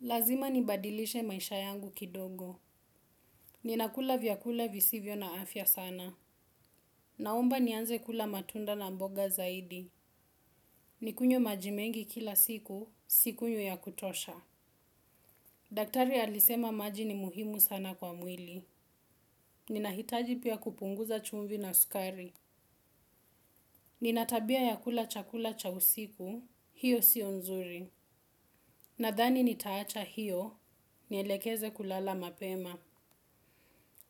Lazima nibadilishe maisha yangu kidogo. Ninakula vyakula visivyo na afya sana. Naomba nianze kula matunda na mboga zaidi. Nikunywe maji mengi kila siku, sikunywi ya kutosha. Daktari alisema maji ni muhimu sana kwa mwili. Ninahitaji pia kupunguza chumvi na sukari. Nina tabia ya kula chakula cha usiku, hiyo sio nzuri. Nadhani nitaacha hiyo, nielekeze kulala mapema.